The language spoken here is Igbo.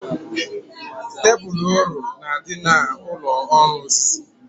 Tebul ọrọ na-adị n'ụlọ ọrụ osisi